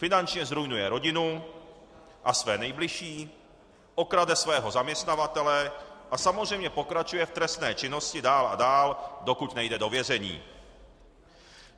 Finančně zruinuje rodinu a své nejbližší, okrade svého zaměstnavatele a samozřejmě pokračuje v trestné činnosti dál a dál, dokud nejde do vězení.